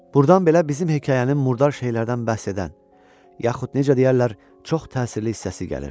Burdan belə bizim hekayənin murdar şeylərdən bəhs edən yaxud necə deyərlər, çox təsirli hissəsi gəlir.